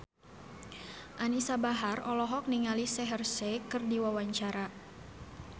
Anisa Bahar olohok ningali Shaheer Sheikh keur diwawancara